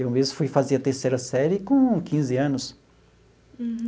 Eu mesmo fui fazer a terceira série com quinze anos.